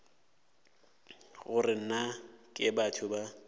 gore na ke batho ba